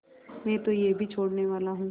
मैं तो यह भी छोड़नेवाला हूँ